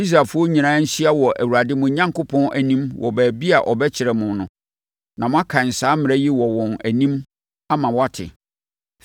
Israelfoɔ nyinaa nhyia wɔ Awurade mo Onyankopɔn anim wɔ baabi a ɔbɛkyerɛ no, na moakan saa mmara yi wɔ wɔn anim ama wɔate.